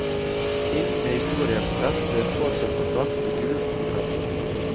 Inn med historiens beste sponsorkontrakt i gult og grønt.